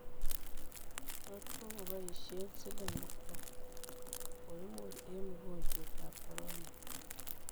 Tos kokopaishe siling ata koimur eng mogonjwet ap corona?